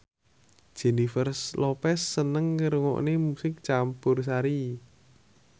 Jennifer Lopez seneng ngrungokne musik campursari